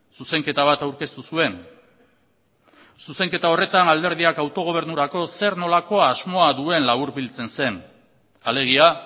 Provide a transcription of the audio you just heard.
zuzenketa bat aurkeztu zuen zuzenketa horretan alderdiak autogobernurako zer nolako asmoa duen laburbiltzen zen alegia